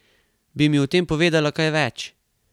Bi mi o tem povedala kaj več?